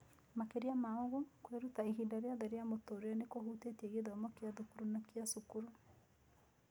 Makĩria ma ũguo, kwĩruta ihinda rĩothe rĩa mũtũũrĩre nĩ kũhutĩtie gĩthomo kĩa thukuru na kĩa cukuru.